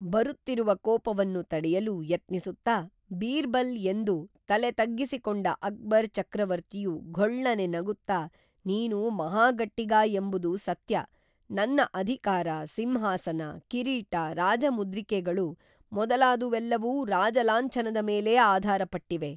ಬರುತ್ತಿರುವ ಕೋಪವನ್ನು ತಡೆಯಲು ಯತ್ನಿಸುತ್ತಾ ಬೀರ್ಬಲ್‌ ಎಂದು, ತಲೆ ತಗ್ಗಿಸಿಕೊಂಡ ಅಕ್ಬರ್ ಚಕ್ರವರ್ತಿಯು ಘೋಳ್ಳನೆ ನಗುತ್ತಾ ನೀನು ಮಹಾ ಗಟ್ಟಿಗ ಎಂಬುದು ಸತ್ಯ, ನನ್ನ ಅಧಿಕಾರ, ಸಿಂಹಾಸನ, ಕಿರೀಟ, ರಾಜಮುದ್ರಿಕೇಗಳು, ಮೊದಲಾದವೆಲ್ಲವೂ ರಾಜ ಲಾಂಛನದ ಮೇಲೇ ಆಧಾರ ಪಟ್ಟಿವೆ